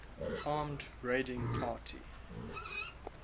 armed raiding party